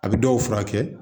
A bɛ dɔw furakɛ